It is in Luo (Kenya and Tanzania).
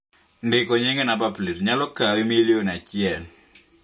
Ndiko nying e namba plet nyalo kawi milion achiel